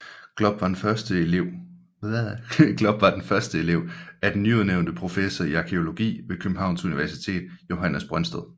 Glob var den første elev af den nyudnævnte professor i arkæologi ved Københavns Universitet Johannes Brøndsted